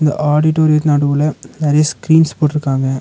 ஆடிட்டோரித் நடுவுல நெறைய ஸ்கிரீன்ஸ் போட்ருக்காங்க.